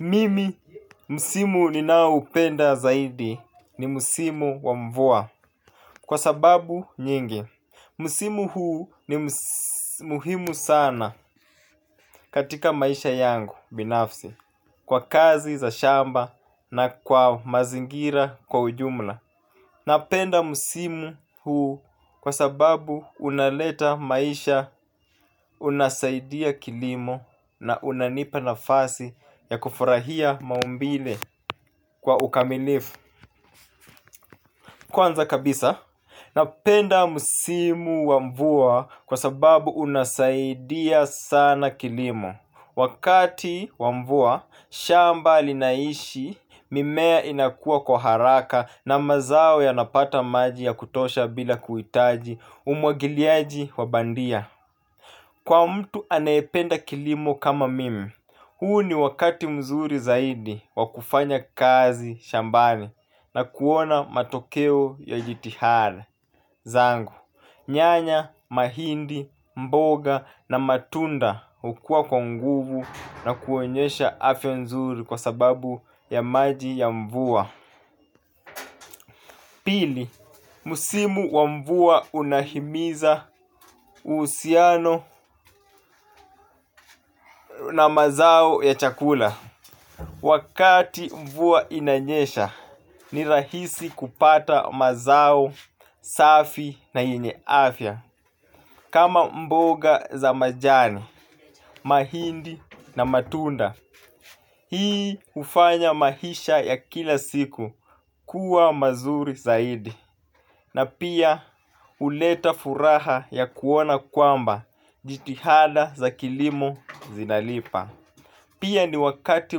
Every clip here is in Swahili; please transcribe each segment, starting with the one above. Mimi, msimu ninaoupenda zaidi ni msimu wa mvua. Kwa sababu nyingi, msimu huu ni muhimu sana katika maisha yangu binafsi. Kwa kazi za shamba na kwa mazingira kwa ujumla. Napenda msimu huu kwa sababu unaleta maisha, unasaidia kilimo na unanipa nafasi ya kufurahia maumbile kwa ukamilifu. Kwanza kabisa, napenda msimu wa mvua kwa sababu unasaidia sana kilimo. Wakati wa mvua, shamba linaishi, mimea inakua kwa haraka na mazao yanapata maji ya kutosha bila kuhitaji umwagiliaji wa bandia. Kwa mtu anayependa kilimo kama mimi, huu ni wakati mzuri zaidi wa kufanya kazi shambani na kuona matokeo ya jitihada zangu. Nyanya, mahindi, mboga na matunda hukua kwa nguvu na kuonyesha afya nzuri kwa sababu ya maji ya mvua. Pili, msimu wa mvua unahimiza uhusiano na mazao ya chakula. Wakati mvua inanyesha, ni rahisi kupata mazao safi na yenye afya. Kama mboga za majani, mahindi na matunda. Hii hufanya maisha ya kila siku kuwa mazuri zaidi. Na pia huleta furaha ya kuona kwamba jitihada za kilimo zinalipa. Pia ni wakati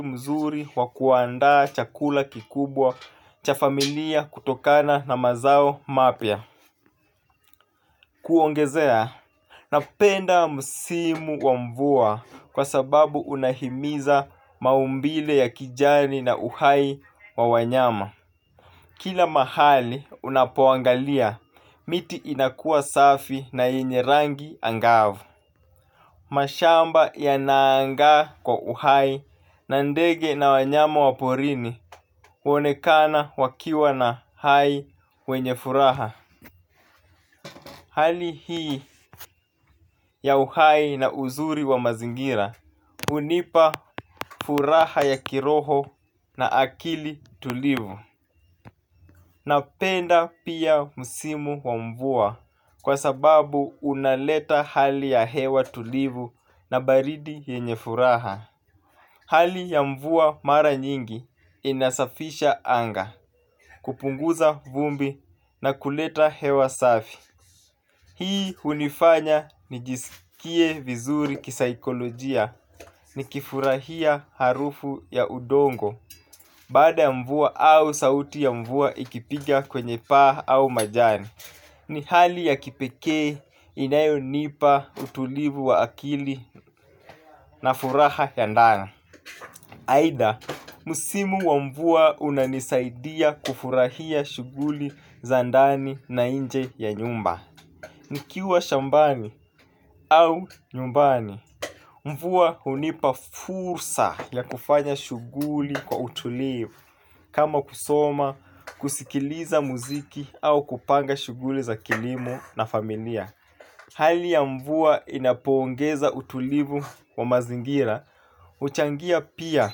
mzuri wa kuandaa chakula kikubwa cha familia kutokana na mazao mapya Kuongezea, napenda msimu wa mvua kwa sababu unahimiza maumbile ya kijani na uhai wa wanyama. Kila mahali unapoangalia miti inakua safi na yenye rangi angavu. Mashamba yana aanga kwa uhai na ndege na wanyama wa porini huonekana wakiwa na hai wenye furaha. Hali hii ya uhai na uzuri wa mazingira unipa furaha ya kiroho na akili tulivu. Napenda pia msimu wa mvua kwa sababu unaleta hali ya hewa tulivu na baridi yenye furaha. Hali ya mvua mara nyingi inasafisha anga, kupunguza vumbi na kuleta hewa safi. Hii hunifanya nijisikie vizuri kisaikolojia, nikifurahia harufu ya udongo. Baada ya mvua au sauti ya mvua ikipiga kwenye paa au majani, ni hali ya kipekee inayonipa utulivu wa akili na furaha ya ndani. Aitha, msimu wa mvua unanisaidia kufurahia shughuli za andani na nje ya nyumba nikiwa shambani au nyumbani mvua hunipa fursa ya kufanya shughuli kwa utulivu. Kama kusoma, kusikiliza muziki au kupanga shughuli za kilimo na familia. Hali ya mvua inapoongeza utulivu wa mazingira huchangia pia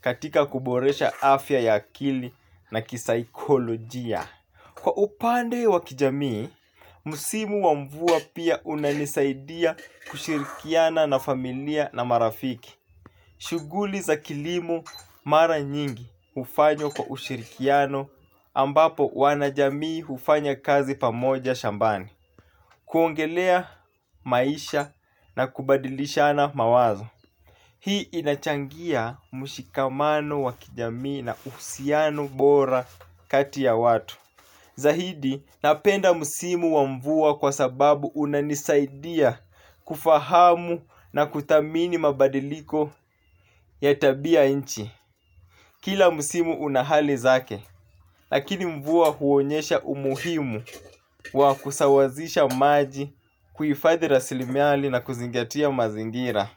katika kuboresha afya ya akili na kisaikolojia. Kwa upande wa kijamii, msimu wa mvua pia unanisaidia kushirikiana na familia na marafiki. Shuguli za kilimu mara nyingi ufanyo kwa ushirikiano ambapo wanajamii hufanya kazi pamoja shambani. Kuongelea maisha na kubadilishana mawazo. Hii inachangia mshikamano wa kijamii na uhusiano bora kati ya watu. Zaidi napenda msimu wa mvua kwa sababu unanisaidia kufahamu na kuthamini mabadiliko ya tabia inchi. Kila musimu unahali zake. Lakini mvua huonyesha umuhimu wa kusawazisha maji kuhifadhi rasilimiali na kuzingatia mazingira.